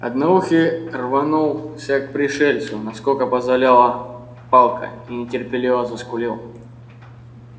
одноухий рванулся к пришельцу насколько позволяла палка и нетерпеливо заскулил